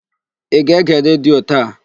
Ị ga-ege redio taa?